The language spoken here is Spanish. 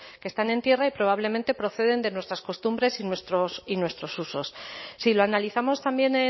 que están en tierra y probablemente proceden de nuestras costumbres y nuestros usos si lo analizamos también